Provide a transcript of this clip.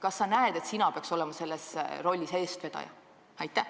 Kas sa näed, et sina peaks olema selles rollis eestvedaja?